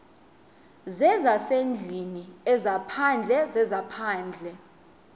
zezasendlwini ezaphandle zezaphandle